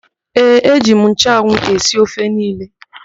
Ee, eji m nchụanwụ esi ofe niile.